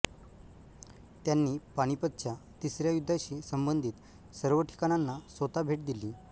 त्यांनी पानिपतच्या तिसऱ्या युद्धाशी संबंधित सर्व ठिकाणांना स्वतः भेट दिली